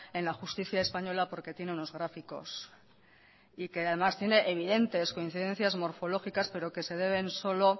en la justicia española porque tiene unos gráficos y que además tiene evidentes coincidencias morfológicas pero que se deben solo